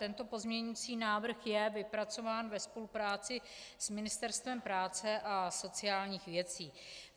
Tento pozměňovací návrh je vypracován ve spolupráci s Ministerstvem práce a sociálních věcí.